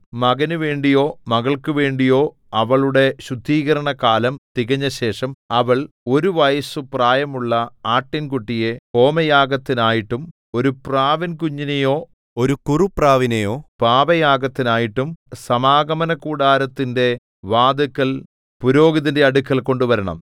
മകനുവേണ്ടിയോ മകൾക്കുവേണ്ടിയോ അവളുടെ ശുദ്ധീകരണകാലം തികഞ്ഞശേഷം അവൾ ഒരു വയസ്സു പ്രായമുള്ള ആട്ടിൻകുട്ടിയെ ഹോമയാഗത്തിനായിട്ടും ഒരു പ്രാവിൻകുഞ്ഞിനെയോ ഒരു കുറുപ്രാവിനെയോ പാപയാഗത്തിനായിട്ടും സമാഗമനകൂടാരത്തിന്റെ വാതില്ക്കൽ പുരോഹിതന്റെ അടുക്കൽ കൊണ്ടുവരണം